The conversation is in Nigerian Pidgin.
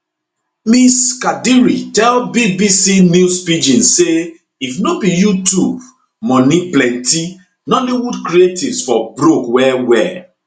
ms kadiri tell bbc news pidgin say if no be youtube moni plenty nollywood creatives for broke wellwell